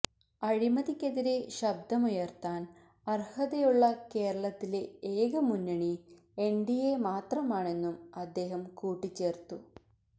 അഴിമതിക്കെതിരെ ശബ്ദമുയര്ത്താന് അര്ഹതയുള്ള കേരളത്തിലെ ഏക മുന്നണി എന്ഡിഎ മാത്രമാണെന്നും അദ്ദേഹം കൂട്ടിച്ചേര്ത്തു